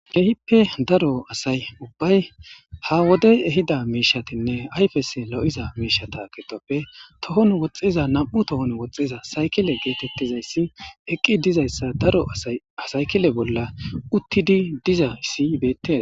Keehipoe daro asa ubbay ha wodey ehida miishshatinne ayfes lo'iza miishshata giddoppe tohon woxxiza nami'u tohon woxxiza sayikile geetettizayssi eqqi dizayssa daro asay ha sayikile bolla utti dizayssi beettes.